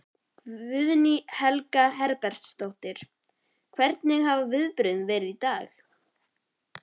Guðný Helga Herbertsdóttir: Hvernig hafa viðbrögðin verið í dag?